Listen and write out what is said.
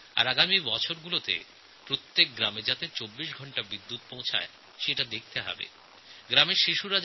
আগামী কয়েক বছরের মধ্যে প্রতিটি গ্রামে ২৪ঘণ্টা বিদ্যুৎ সরবরাহ থাকবে